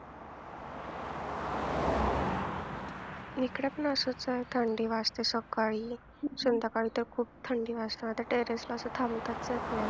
हिकडं पण असंच आहे थंडी वाजते सकाळी, संध्याकाळी तर खूप थंडी वाजते आता टेरेसला असं थांबताच येत नाही.